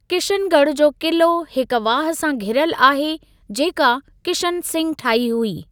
किशन ॻढ़ जो क़िलो हिक वाह सां घिरियलु आहे, जेका किशन सिंघु ठाही हुई।